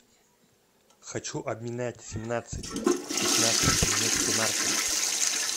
хочу обменять семнадцать пятнадцать немецкой марки